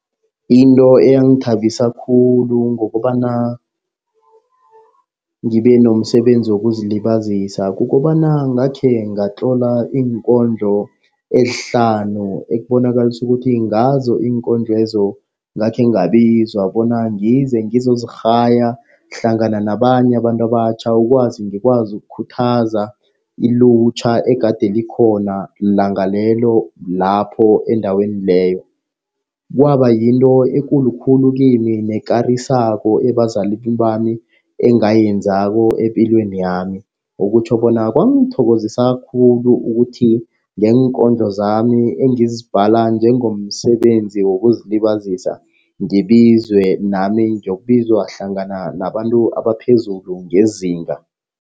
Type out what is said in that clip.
Into eyangithabisa khulu ngokobana ngibe nomsebenzi wokuzilibazisa, kukobana ngakhe ngatlola iinkondlo ezihlanu. Ekubonakalisa ukuthi ngazo iinkondlo lezo ngakhe ngabizwa bona ngize ngizozirhaya hlangana nabanye abantu abatjha. Ukwazi ngikwazi ukukhuthaza ilutjha egade likhona langa lelo lapho endaweni leyo. Kwaba yinto ekulu khulu kimi nekarisako ebazalini bami engayenzako epilwenami. Okutjho bona kwangithokozisa khulu ukuthi ngeenkondlo zami engizibhala njengomsebenzi wokuzilibazisa, ngibizwe nami ngiyokubizwa hlangana nabantu abaphezulu ngezinga.